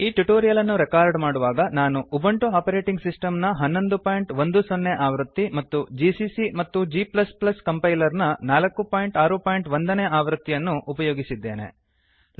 ಈ ಟ್ಯುಟೋರಿಯಲ್ ಅನ್ನು ರೆಕಾರ್ಡ್ ಮಾಡುವಾಗ ನಾನು ಉಬುಂಟು ಆಪರೇಟಿಂಗ್ ಸಿಸ್ಟಮ್ನ1110 ಆವೃತ್ತಿ ಮತ್ತು ಜಿಸಿಸಿ ಮತ್ತು g ಕಂಪೈಲರ್ನ 461 ನೇ ಆವೃತ್ತಿಯನ್ನು ಅನ್ನು ಉಪಯೋಗಿಸಿದ್ದೇನೆ